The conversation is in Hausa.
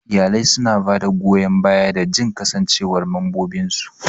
Iyalai suna ba da goyan bayan da jin kasancewar mambobinsu.